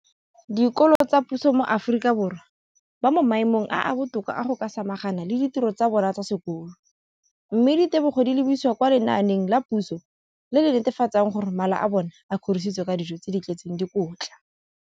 Dikolo tsa puso mo Aforika Borwa ba mo maemong a a botoka a go ka samagana le ditiro tsa bona tsa sekolo, mme ditebogo di lebisiwa kwa lenaaneng la puso le le netefatsang gore mala a bona a kgorisitswe ka dijo tse di tletseng dikotla.